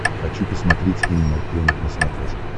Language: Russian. хочу посмотреть энимал плэнет на смотрешке